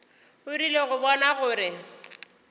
o rile go bona gore